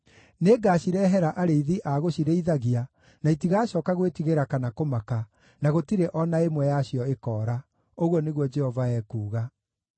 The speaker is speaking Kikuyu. Nĩngacirehera arĩithi a gũcirĩithagia, na itigacooka gwĩtigĩra kana kũmaka, na gũtirĩ o na ĩmwe yacio ĩkoora,” ũguo nĩguo Jehova ekuuga.